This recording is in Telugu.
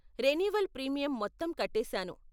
రెన్యువల్ ప్రీమియం మొత్తం కట్టేసాను.